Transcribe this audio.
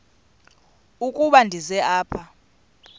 ukuba ndize apha